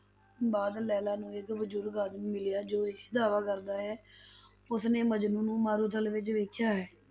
ਬਾਅਦ ਲੈਲਾ ਨੂੰ ਇੱਕ ਬਜ਼ੁਰਗ ਆਦਮੀ ਮਿਲਿਆ ਜੋ ਇਹ ਦਾਅਵਾ ਕਰਦਾ ਹੈ ਉਸਨੇ ਮਜਨੂੰ ਨੂੰ ਮਾਰੂਥਲ ਵਿੱਚ ਵੇਖਿਆ ਹੈ,